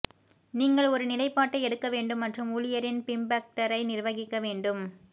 நீங்கள் ஒரு நிலைப்பாட்டை எடுக்க வேண்டும் மற்றும் ஊழியரின் பிம்பெக்டரை நிர்வகிக்க வேண்டும்